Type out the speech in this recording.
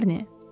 Şarni?